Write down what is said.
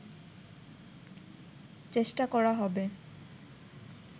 চেষ্টা করা হবে